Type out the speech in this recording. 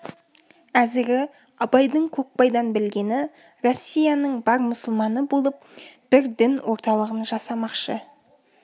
әзіргі абайдың көкбайдан білгені россияның бар мұсылманы болып бір дін орталығын жасамақшы